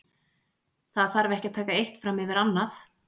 Það þarf ekki að taka eitt fram yfir annað.